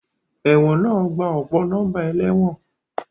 Ẹ̀wọ̀n náà gba ọ̀pọ̀ nọ́mbà ẹlẹ́wọ̀n